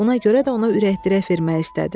Buna görə də ona ürəkdirək vermək istədi.